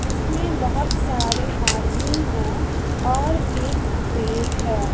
इसमें बहोत सारे आदमी है और एक पेर है।